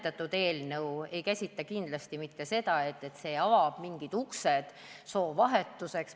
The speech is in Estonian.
Nimetatud eelnõu ei käsitle kindlasti mitte seda teemat, see ei ava mingeid uksi soovahetuseks.